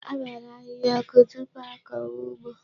A gbara ahịhịa ọkụ tupu a kọwa ụgbọ.